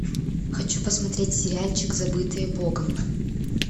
хочу посмотреть сериальчик забытые богом